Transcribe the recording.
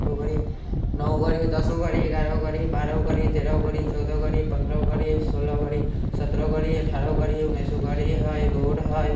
नौ को गाड़ी हई दस को गाड़ी हई ग्यारह को गाड़ी हई बारह को गाड़ी हई तेराह को गाड़ी है चौदह को गाड़ी है पन्द्रह को गाड़ी है सोलह को गाड़ी है सत्रह को गाड़ी है अठारह को गाड़ी है उन्नीस को गाड़ी है हई रोड हई ।